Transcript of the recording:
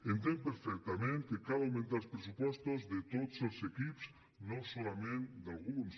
entenc perfectament que cal augmentar els pressupostos de tots els equips no solament d’alguns